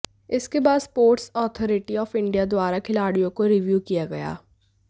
इसके बाद sports authority of India द्वारा खिलाडि़यों को रिव्यू किया गया